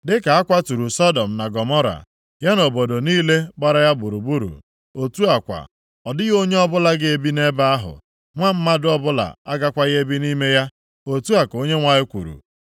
Dịka a kwaturu Sọdọm na Gọmọra, ya na obodo niile gbara ya gburugburu. Otu a kwa, ọ dịghị onye ọbụla ga-ebi nʼebe ahụ; nwa mmadụ ọbụla agakwaghị ebi nʼime ya,” otu a ka Onyenwe anyị kwuru.